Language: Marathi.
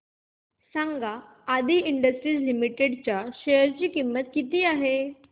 सांगा आदी इंडस्ट्रीज लिमिटेड च्या शेअर ची किंमत किती आहे